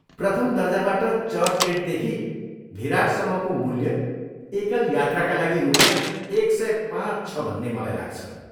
प्रथम दर्जाबाट चर्चगेटदेखि भिरारसम्मको मूल्य एकल यात्राका लागि रुपियाँ एक सय पाँच छ भन्ने मलाई लाग्छ।